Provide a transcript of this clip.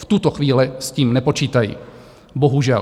V tuto chvíli s tím nepočítají, bohužel.